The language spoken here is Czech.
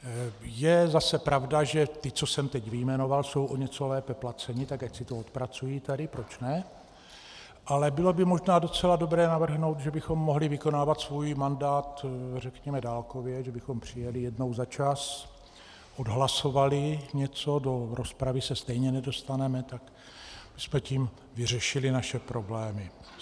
Je zase pravda, že ti, co jsem teď vyjmenoval, jsou o něco lépe placeni, tak ať si to odpracují tady, proč ne, ale bylo by možná docela dobré navrhnout, že bychom mohli vykonávat svůj mandát řekněme dálkově, že bychom přijeli jednou za čas, odhlasovali něco, do rozpravy se stejně nedostaneme, tak bychom tím vyřešili naše problémy.